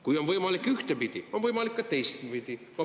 Kui on võimalik ühtepidi, on võimalik ka teistpidi.